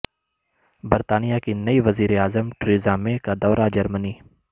برطانیہ کی نئی وزیر اعظم ٹریزا مے کا دورہ جرمنی